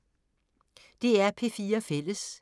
DR P4 Fælles